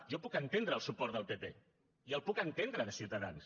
jo puc entendre el suport del pp i el puc entendre de ciutadans